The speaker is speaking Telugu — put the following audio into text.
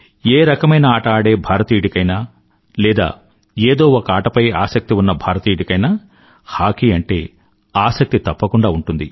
ఏ రకమైన ఆట ఆడే భారతీయుడికైనా లేదా ఏదో ఒక ఆటపై ఆసక్తి ఉన్న భారతీయుడికైనా హాకీ అంటే ఆసక్తి తప్పకుండా ఉంటుంది